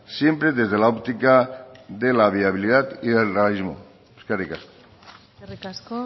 siempre desde la óptica de la viabilidad y del realismo eskerrik asko eskerrik asko